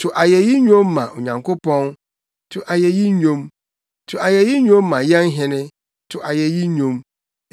To ayeyi nnwom ma Onyankopɔn, to ayeyi nnwom; to ayeyi nnwom ma yɛn Hene, to ayeyi nnwom.